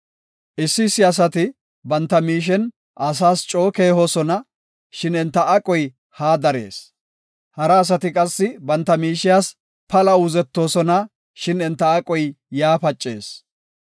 Issi issi asati banta miishe asas coo keehosona; shin enta aqoy haa darees. Hara asati qassi banta miishas pala uuzettoosona; shin enta aqoy yaa pacees.